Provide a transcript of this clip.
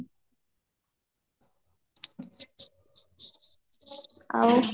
ଆଉ